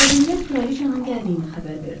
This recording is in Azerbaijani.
Təbillər kraliçanın gəldiyini xəbər verdi.